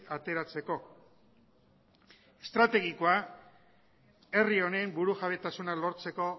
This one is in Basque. ateratzeko estrategikoa herri honen burujabetasuna lortzeko